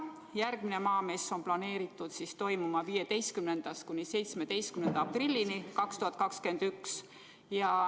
Järgmine Maamess on planeeritud toimuma 15.–17. aprillini 2021.